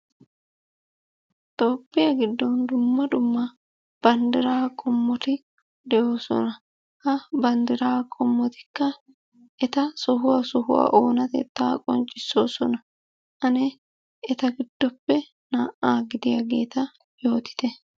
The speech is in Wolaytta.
Toophphiyaa giddon dumma dumma bandira qommotti de'ossona. Ha bandira qommottikka etta sohuwaa sohuwaa onattetta qoncissosana. Anne etta giddoppe na'aa gidiyaagetta yoottite?